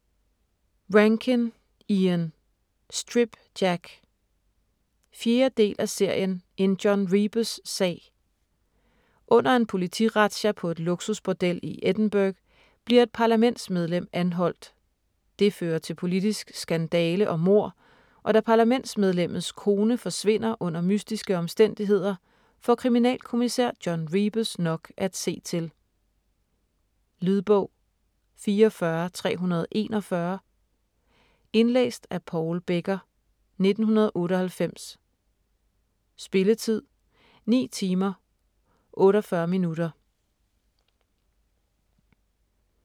Rankin, Ian: Strip Jack 4. del af serien En John Rebus-sag. Under en politirazzia på et luksusbordel i Edinburgh bliver et parlamentsmedlem anholdt. Det fører til politisk skandale og mord, og da parlamentsmedlemmets kone forsvinder under mystiske omstændigheder, får kriminalkommissær John Rebus nok at se til. Lydbog 44341 Indlæst af Paul Becker, 1998. Spilletid: 9 timer, 48 minutter.